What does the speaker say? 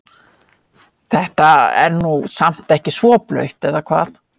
Þetta er nú samt ekki svo blautt eða hvað?